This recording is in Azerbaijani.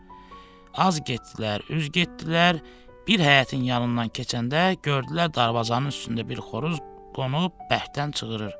Az getdilər, üz getdilər, bir həyətin yanından keçəndə gördülər darvazanın üstündə bir xoruz qonub bərkdən cığırır.